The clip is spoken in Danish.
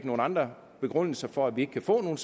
nogle andre begrundelser for at vi ikke kan få nogle